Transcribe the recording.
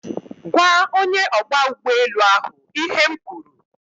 Gwaa onye ogba ugboelu ahu ihe m kwuru